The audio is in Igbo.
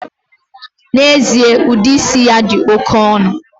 Na-ezie, udi isi a di oke onu.